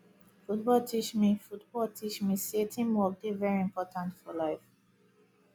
football teach me football teach me sey teamwork dey very important for life